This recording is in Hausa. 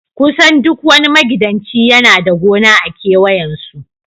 kusan duk wani magidanci yana da gona a kewayen su